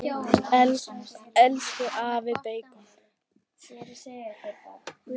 Elsku afi beikon.